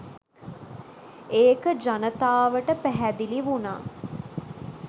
ඒක ජනතාවට පැහැදිලි වුනා.